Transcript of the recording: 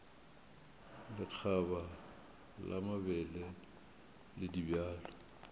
lekgaba la mabele le dibjalo